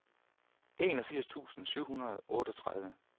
enogfirs tusind syv hundrede og otteogtredive